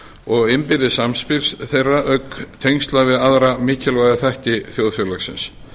og innbyrðis samspils þeirra auk tengsla við aðra mikilvæga þætti þjóðfélagsins